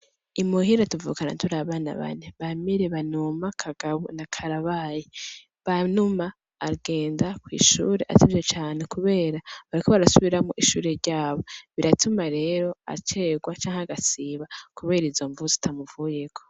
Imuhira tuvukana turi abana bane, Bamire, Banuma, kagabo na Karabaye. Banuma agenda kw'ishure atevye cane kubera bariko barasubiramwo ishure ryabo ,biratuma rero acegwa canke agasiba kubera izo mvo zitamuvuyeko.